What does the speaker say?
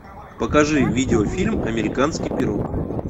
покажи видеофильм американский пирог